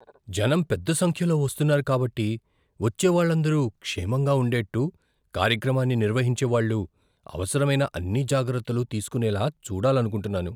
జనంపెద్ద సంఖ్యలో వస్తున్నారు కాబట్టి, వచ్చే వాళ్ళందరు క్షేమంగా ఉండేట్టు కార్యక్రమాన్ని నిర్వహించేవాళ్ళు అవసరమైన అన్ని జాగ్రత్తలు తీసుకునేలా చూడాలనుకుంటున్నాను.